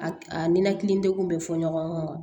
A a ninakili degun bɛ fɔ ɲɔgɔn kɔ wa